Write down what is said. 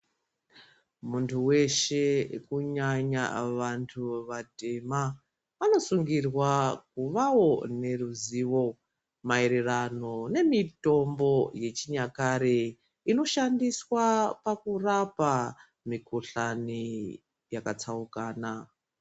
Muntu weshe kunyanya vantu vatema vanosungirwa kuvawo neruzivo maererano nemitombo yechinyakare inoshandiswa pakurapa mikhuhlani yakatsaukana.